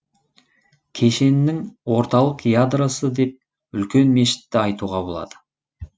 кешеннің орталық ядросы деп үлкен мешітті айтуға болады